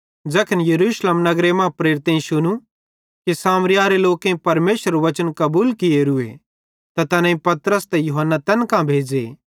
ज़ैखन यरूशलेम नगरे मां प्रेरितेईं शुनू कि सामरियारे लोकेईं परमेशरेरू बच्चन कबूल कियोरूए ते तैनेईं पतरस त यूहन्ना तैन कां भेज़े